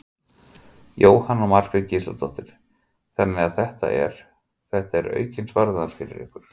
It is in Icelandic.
Jóhanna Margrét Gísladóttir: Þannig að þetta er, þetta er aukinn sparnaður fyrir ykkur?